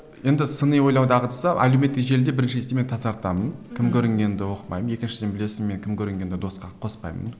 енді сыни ойлау дағдысы әлеуметтік желіде бірінші кезекте мен тазартамын кім көрінгенді оқымаймын екіншіден білесің мен кім көрінгенді досқа қоспаймын